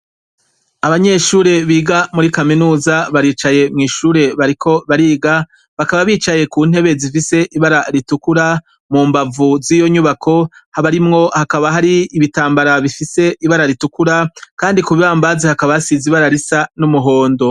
Abanyeshure biga muri kaminuza baricaye mw' ishure bariko bariga, bakaba bicaye ku ntebe zifise ibara ritukura, mu mbavu z' iyo nyubako barimwo hakaba hari ibitambara bifise ibara ritukura, kandi ku bibambazi hakaba hasize ibara risa n' umuhondo .